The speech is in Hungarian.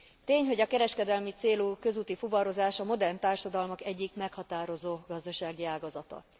Tény, hogy a kereskedelmi célú közúti fuvarozás a modern társadalmak egyik meghatározó gazdasági ágazata.